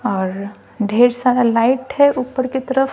और ढेर सारा लाइट है ऊपर की तरफ--